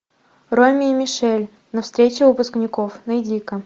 роми и мишель на встрече выпускников найди ка